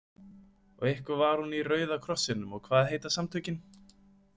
Og eitthvað var hún í Rauða krossinum og hvað heita samtökin?